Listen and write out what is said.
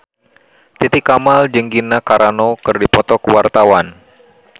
Titi Kamal jeung Gina Carano keur dipoto ku wartawan